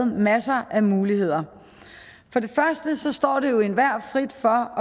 masser af muligheder det står jo enhver frit for